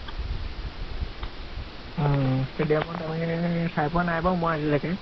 উম । stadium ত চাই পোৱা নাই বাৰু আজিলকে